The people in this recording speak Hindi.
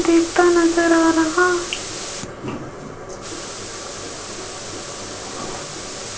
दिखता नजर आ रहा --